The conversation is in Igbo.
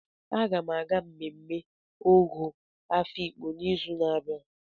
Aga m aga mmemme Ọgọ Afiikpo n'izu na-abịa.